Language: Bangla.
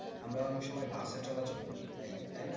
আমরা অনেক সময় বাসে চলাচল করি তাই, তাই না?